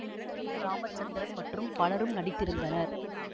K Ramachandran மற்றும் பலரும் நடித்திருந்தனர்